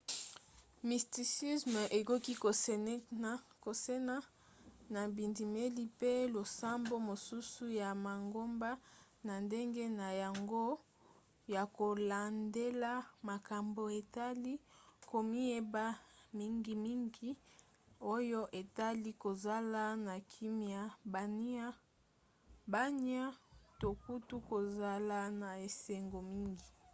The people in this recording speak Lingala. mysticisme ekoki kokesena na bindimeli mpe losambo mosusu ya mangomba na ndenge na yango ya kolandela makambo etali komiyeba mingimingi oyo etali kozala na kimia bwania to kutu kozala na esengo mingi